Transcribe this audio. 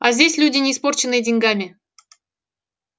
а здесь люди не испорченные деньгами